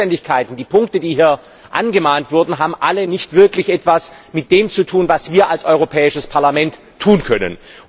Denn die Zuständigkeiten, die Punkte, die hier angemahnt wurden, haben alle nicht wirklich etwas mit dem zu tun, was wir als Europäisches Parlament tun können.